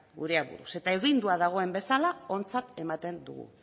gure aburuz eta agindua dagoen bezala ontzat ematen dugu